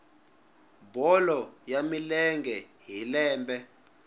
bolo ya milenge hi lembe